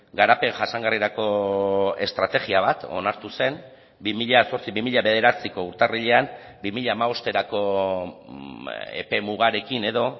garapen jasangarrirako estrategia bat onartu zen bi mila zortzi bi mila bederatziko urtarrilean bi mila hamabosterako epe mugarekin edo